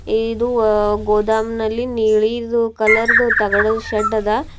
ಇದು ಅ- ಗೋದಾಮ್ ನಲ್ಲಿ ನೀಲಿದು ಕಲರ್ದ ತಗಡಿನ ಶೆಡ್ ಅದ.